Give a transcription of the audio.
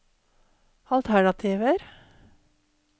alternativer